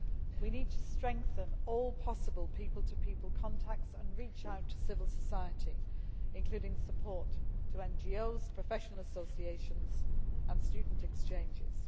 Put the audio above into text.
We need to strengthen all possible people to people contacts and reach out to civil society, and that includes supporting NGOs, professional associations and student exchanges.